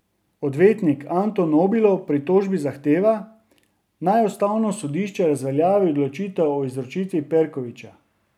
Odvetnik Anto Nobilo v pritožbi zahteva, naj ustavno sodišče razveljavi odločitev o izročitvi Perkovića.